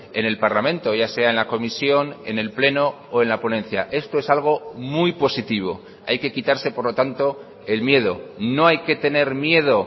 en el parlamento ya sea en la comisión en el pleno o en la ponencia esto es algo muy positivo hay que quitarse por lo tanto el miedo no hay que tener miedo